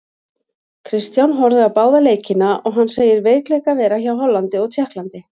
Kristján horfði á báða leikina og hann segir veikleika vera hjá Hollandi og Tékklandi.